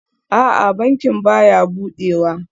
A'a, bankin baya budewa